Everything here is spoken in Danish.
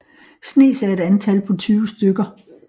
Snes er et antal på 20 stykker